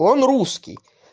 он русский